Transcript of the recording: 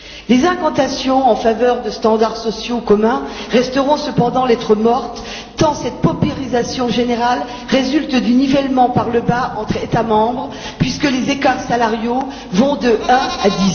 Les incantations en faveur de normes sociales communes resteront cependant lettre morte, tant cette paupérisation générale résulte du nivellement par le bas entre États membres puisque les écarts salariaux vont de 1 à